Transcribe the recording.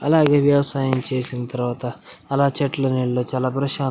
అలాగే వ్యవసాయం చేసిన తరవాత అలా చెట్లు నీడలో చాల ప్రశాం --